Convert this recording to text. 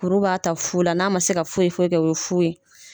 Kuru b'a ta fu la, n'a ma se ka foyi foyi kɛ o ye fu ye.